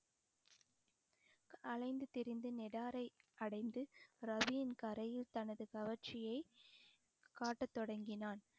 அலைந்து திரிந்து அடைந்து ராவியின் கரையில் தனது கவர்ச்சியை காட்டத் தொடங்கினான்